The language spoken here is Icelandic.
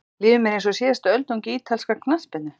Líður mér eins og síðasta öldungi ítalskrar knattspyrnu?